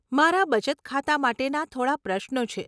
મારા બચત ખાતા માટેના થોડાં પ્રશ્નો છે.